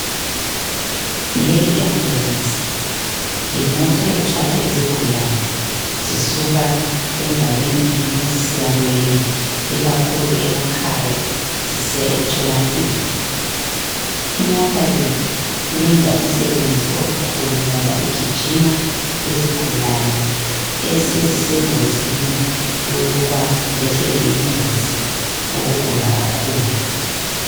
Leyi yi ambulensi yimota ethwala izigulane zisuka endaweni inye zisiya kweyinye, ikakhulu emakhaya zisiya emtholampilo. Imota le iyenza umsebenzi omkhulu ngoba igijima lezigulane esezisengozini yokuba zehlelwe yingozi ngokugula kakhulu.